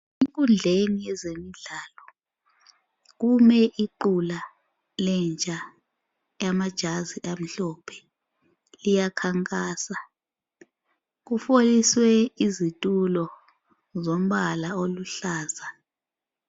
Enkundleni yezemidlalo kume iqula lentsha elamajazi amhlophe, iyakhankasa. Kufoliswe izitulo zombala oluhlaza.